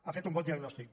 ha fet un bon diagnòstic